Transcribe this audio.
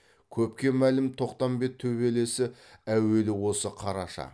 көпке мәлім тоқпамбет төбелесі әуелі осы қараша